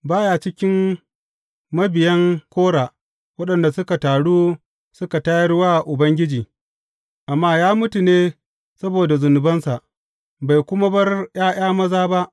Ba ya cikin mabiyan Kora waɗanda suka taru suka tayar wa Ubangiji, amma ya mutu ne saboda zunubinsa, bai kuma bar ’ya’ya maza ba.